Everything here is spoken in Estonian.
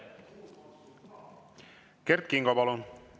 Kert Kingo, palun!